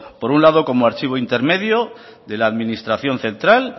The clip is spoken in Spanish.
por un lado como archivo intermedio de la administración central